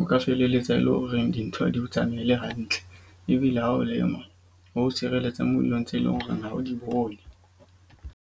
O ka felelletsa e lo reng dintho ha di o tsamaele hantle. Ebile ha o lema ho tshireletsa mo dilong tse leng hore ha o di bone.